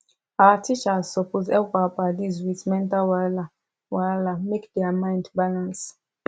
our teachers supos hep our padis with mental wahala wahala make dia mind balance